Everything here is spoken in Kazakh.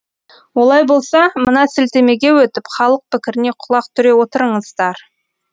олай болса мына сілтемеге өтіп халық пікіріне құлақ түре отырыңыздар